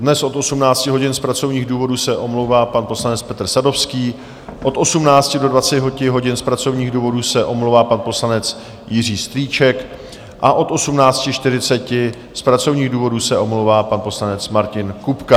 Dnes od 18 hodin z pracovních důvodů se omlouvá pan poslanec Petr Sadovský, od 18 do 20 hodin z pracovních důvodů se omlouvá pan poslanec Jiří Strýček a od 18.40 z pracovních důvodů se omlouvá pan poslanec Martin Kupka.